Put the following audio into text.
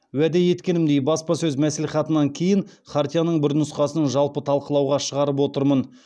уәде еткенімдей баспасөз мәслихатынан кейін хартияның бір нұсқасын жалпы талқылауға шығарып отырмын